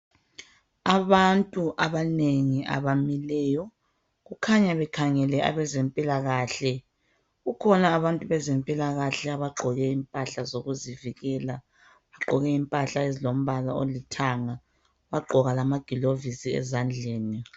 Abantu abanengi abamileyo kukhanya bekhangele abezempilakahle. Kukhona abantu abezempilakahle abagqoke impahla zokuzivikela, bagqoke impahla ezilombala olithanga, bagqoka lamagilovosi ezandleni.